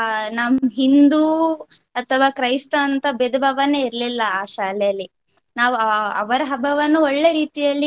ನಮ್~ ಹಿಂದೂ ಅಥವಾ ಕ್ರೈಸ್ತ ಅಂತ ಭೇದ ಭಾವನೆ ಇರ್ಲಿಲ್ಲ ಆ ಶಾಲೆಯಲ್ಲಿ. ನಾವು ಅಹ್ ಅವರ ಹಬ್ಬವನ್ನು ಒಳ್ಳೆ ರೀತಿಯಲ್ಲಿ.